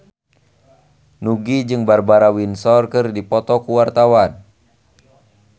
Nugie jeung Barbara Windsor keur dipoto ku wartawan